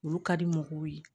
Olu ka di mɔgɔw ye